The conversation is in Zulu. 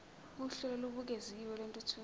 uhlelo olubukeziwe lwentuthuko